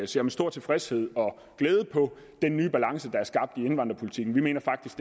ser med stor tilfredshed og glæde på den nye balance der er skabt i indvandrerpolitikken vi mener faktisk